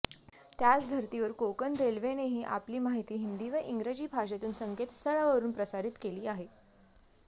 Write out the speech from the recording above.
त्याचधर्तीवर कोकण रेल्वेनेही आपली माहिती हिंदी व इंगजी भाषेतुन संकेतस्थळावरून प्रसारित केली आहे